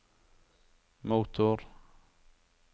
motor